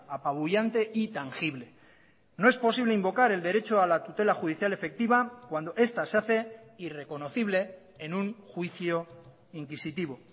apabullante y tangible no es posible invocar el derecho a la tutela judicial efectiva cuando esta se hace irreconocible en un juicio inquisitivo